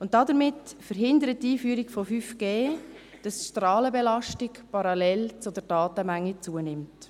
Damit verhindert die Einführung von 5G, dass die Strahlenbelastung parallel zur Datenmenge zunimmt.